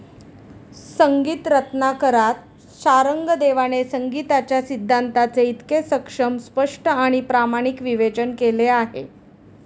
संगीत रत्नाकरात शारंगदेवाने संगिताच्या सिद्धांताचे इतके सक्षम, स्पष्ट आणी प्रामाणिक विवेचन केले आहे.